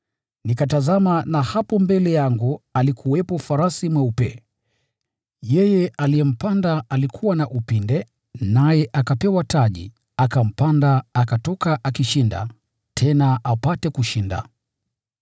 Nikatazama, na hapo mbele yangu alikuwepo farasi mweupe! Yeye aliyempanda alikuwa na upinde, naye akapewa taji, akampanda akatoka akiwa kama mshindi aelekeaye katika kushinda.